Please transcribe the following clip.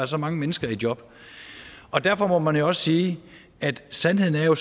så mange mennesker i job derfor må man jo også sige at sandheden er